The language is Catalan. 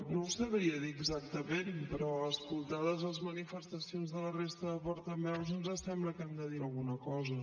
no ho sabria dir exactament però escoltades les manifestacions de la resta de portaveus ens sembla que hem de dir alguna cosa